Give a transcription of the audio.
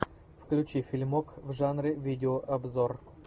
включи фильмок в жанре видеообзор